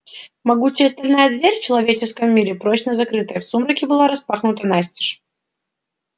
могучая стальная дверь в человеческом мире прочно закрытая в сумраке была распахнута настежь